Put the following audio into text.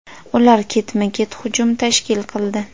Ular ketma-ket hujum tashkil qildi.